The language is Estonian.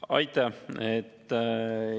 Aitäh!